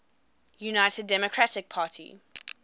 united democratic party